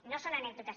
no són anècdotes